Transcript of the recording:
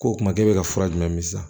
K'o kum'e bɛ ka fura jumɛn min san